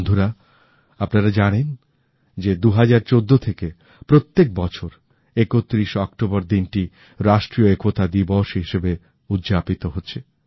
বন্ধুরা আপনারা জানেন যে ২০১৪ থেকে প্রত্যেক বছর ৩১ শে অক্টোবর দিনটি রাষ্ট্রীয় একতা দিবস হিসাবে উদযাপিত হচ্ছে